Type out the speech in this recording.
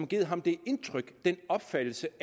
givet ham det indtryk den opfattelse